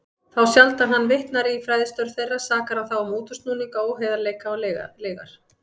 Þá sjaldan hann vitnar í fræðistörf þeirra, sakar hann þá um útúrsnúninga, óheiðarleika og lygar.